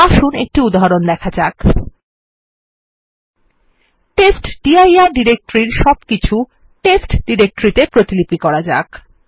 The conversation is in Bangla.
আসুন একটি উদাহরণ দেখা যাক আসুন টেস্টডির ডিরেক্টরির সবকিছু টেস্ট ডিরেক্টরির তে প্রতিলিপি করা যাক